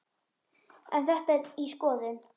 En þetta er í skoðun.